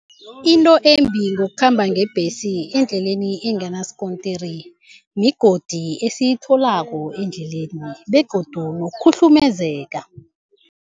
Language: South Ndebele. Into embi ngokukhamba ngebhesi endleleni enganaskontiri migodi esiyitholako endleleni begodu nokukhuhlumezeka.